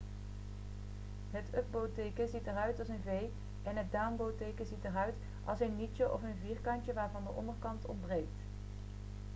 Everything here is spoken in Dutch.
het up-bow teken ziet eruit als een v en het down-bow teken ziet eruit als een nietje of een vierkantje waarvan de onderkant ontbreekt